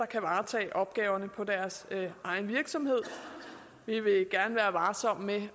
kan varetage opgaverne på deres egen virksomhed vi vil gerne være varsomme med